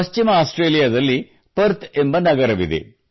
ಪಶ್ಚಿಮ ಆಸ್ಟ್ರೇಲಿಯಾದಲ್ಲಿ ಪರ್ಥ್ ಎಂಬ ನಗರವಿದೆ